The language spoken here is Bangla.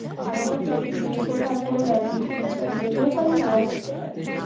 আর ওটাতে কি ওর জন্য আর কোনো guarantee নেই আমি পেতেও পারি নাও পেতে পারি